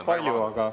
Loomulikult!